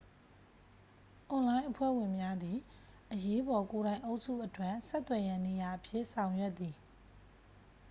အွန်လိုင်းအဖွဲ့ဝင်များသည် အရေးပေါ်ကိုယ်တိုင်အုပ်စုအတွက် ဆက်သွယ်ရန်နေရာအဖြစ် ဆောင်ရွက်သည်